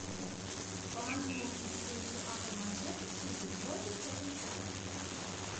помоги найти встречу апл манчестер сити против тоттенхэма